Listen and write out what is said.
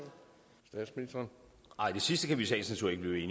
institut